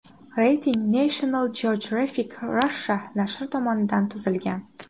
Reyting National Geographic Russia nashri tomonidan tuzilgan .